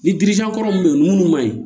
Ni kɔrɔ mun be yen munnu ma